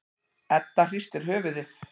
Edda hristir höfuðið.